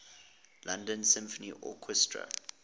london symphony orchestra